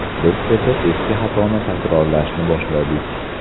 Biz esa eski xatoni takrorlashni boshladik.